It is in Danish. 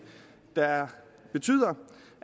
der betyder